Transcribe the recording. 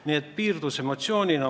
Nii et piirdusime emotsioonidega.